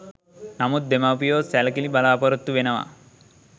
නමුත් දෙමව්පියෝ සැලකිලි බලාපොරොත්තු වෙනවා.